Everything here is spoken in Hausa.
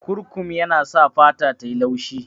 Kurkum yana sa fata tayi laushi